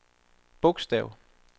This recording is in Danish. bogstav